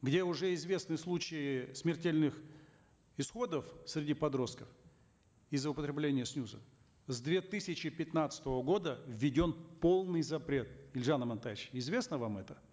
где уже известны случаи смертельных исходов среди подростков из за употребления снюсов с две тысячи пятнадцатого года введен полный запрет елжан амантаевич известно вам это